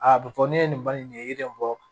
Aa be fɔ ne ye nin bali nin yiri in bɔ